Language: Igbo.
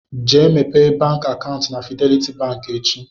Gaa mepee bank akaụntụ na Fidelity bank echi.